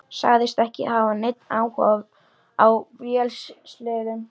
Sagðist ekki hafa neinn áhuga á vélsleðum.